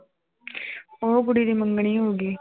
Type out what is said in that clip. ਉਹ ਕੁੜੀ ਦੀ ਮੰਗਣੀ ਹੋ ਗਈ